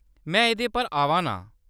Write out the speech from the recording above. में एह्‌‌‌दे पर आवा ना आं।